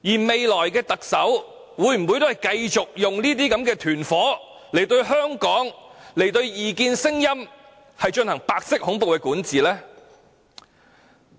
未來的特首會否繼續用這些"團夥"，對香港、對異見聲音進行白色恐怖的管治呢？